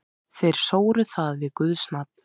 Þeir sóru það við guðs nafn.